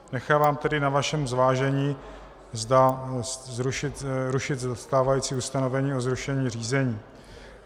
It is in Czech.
Nechávám tedy na vašem zvážení, zda rušit stávající ustanovení o zrušení řízení.